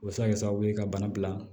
O bɛ se ka kɛ sababu ye ka bana bila